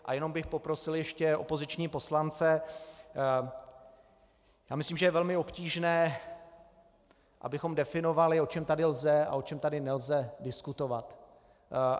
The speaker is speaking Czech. A jenom bych poprosil ještě opoziční poslance - já myslím, že je velmi obtížné, abychom definovali, o čem tady lze a o čem tady nelze diskutovat.